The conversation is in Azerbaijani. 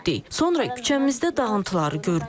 Sonra küçəmizdə dağıntıları gördük.